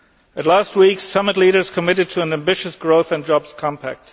At last week's summit, leaders committed to an ambitious Growth and Jobs Compact.